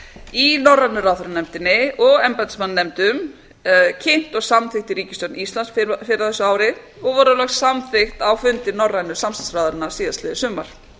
í norrænu ráðherranefndinni og embættismannanefndum kynnt og samþykkt í ríkisstjórn íslands fyrr á þessu ári og voru loks samþykkt á fundi norrænu samstarfsráðherranna síðastliðið sumar